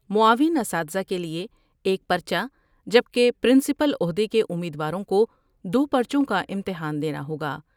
معاون اساتزہ کے لئے ایک پرچہ جبکہ پرنسپل عہدے کے امیدواروں کو دو پر چوں کا امتحان دینا ہوگا ۔